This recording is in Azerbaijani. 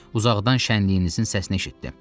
Uzaqdan şənliyinizin səsini eşitdim.